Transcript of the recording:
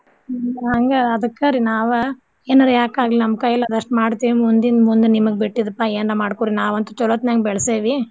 ಹ್ಮ್ ಹಂಗ ಅದ್ಕ ರೀ ನಾವ ಎನಾರ ಯಾಕ್ ಆಗ್ಲಿ ನಮ್ಮ್ ಕೈಲ್ ಆದಸ್ಟ್ ಮಾಡ್ತೇವ್ ಮುಂದಿನ್ ಮುಂದ್ ನಿಮಗ್ ಬಿಟ್ಟಿದ್ ಪಾ ಏನರ ಮಾಡ್ಕೋರಿ ನಾವಂತು ಚೊಲೋತ್ನಂಗ ಬೆಳ್ಸೇವಿ.